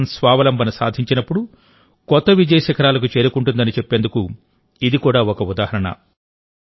దేశం స్వావలంబన సాధించినప్పుడు కొత్త విజయ శిఖరాలకు చేరుకుంటుందని చెప్పేందుకు ఇది కూడా ఒక ఉదాహరణ